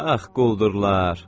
Ax quldurlar.